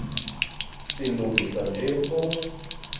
silungisa nje phofu